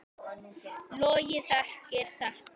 Logi þekkir þetta.